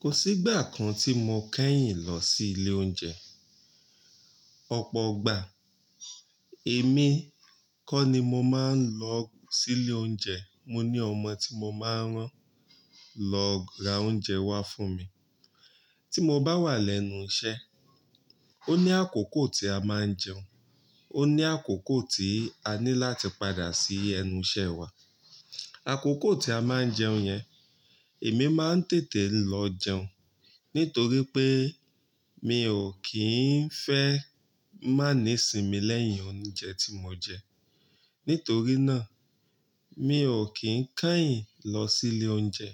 Kò sí ìgbà kan tí mo kẹ́yìn lọ sí ilé oúnjẹ. Ọ̀pọ̀ ọgbà, èmi kọ́ ni mo máa ń lọ sí ilé oúnjẹ. Mo ní ọmọ tí mo máa ń rán lọ ra oúnjẹ wá fún mi. Tí mo bá wà lẹ́nu iṣẹ́, ó ní àkókò tí a máa ń jẹun, ó ní àkókò tí a ní láti padà sí ẹnu iṣẹ́ wa. Àkókò tí a máa ń jẹun yẹn, èmi máa ń tètè lọ jẹun nítorí pé mi ò kí ń fẹ́ má ní sinmi lẹ́yìn oúnjẹ tí mo jẹ. Nítorí náà, mi ò kí ń kẹ́yìn lọ sí ilé oúnjẹ.